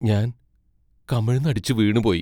ഞാൻ കമിഴ്ന്നടിച്ചു വീണുപോയി.